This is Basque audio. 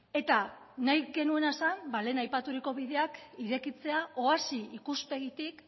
eta nahi genuena zen lehen aipaturiko bideak irekitzea oasi ikuspegitik